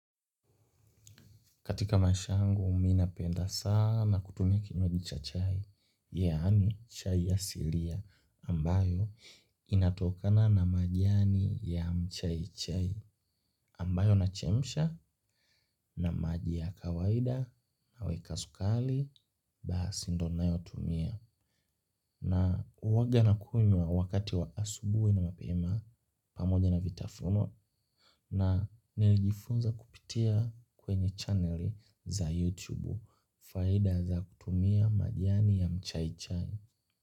Katika maisha yangu, mi napenda sana kutumia kinywaji cha chai, yani chai asilia, ambayo inatokana na majiani ya mchai chai, ambayo na chemsha na maji ya kawaida naweka sukali, basi ndio nayotumia. Na uwaga na kunywa wakati wa asubuhi na mapema pamoja na vitafunwa na nilijifunza kupitia kwenye channeli za YouTube faida za kutumia majani ya mchaichai.